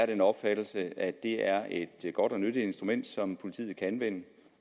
den opfattelse at det er et godt og nyttigt instrument som politiet kan anvende